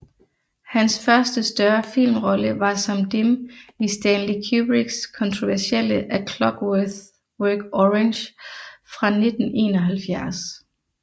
Hans første større filmrolle var som Dim i Stanley Kubricks kontroversielle A Clockwork Orange fra 1971